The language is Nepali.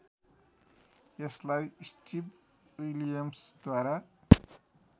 यसलाई स्टिभ विलियम्सद्वारा